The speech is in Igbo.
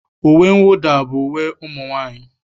Uwe mwụda bụ uwe ụmụ nwaanyị.